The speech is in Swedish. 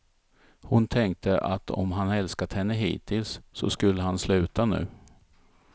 Hon tänkte att om han älskat henne hittills, så skulle han sluta nu.